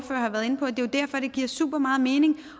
derfor det giver super meget mening